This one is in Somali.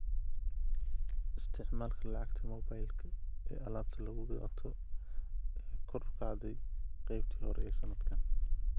Isticmaalka lacagta moobilka ee alaabta lagu gato ayaa kor u kacday qeybtii hore ee sanadkan.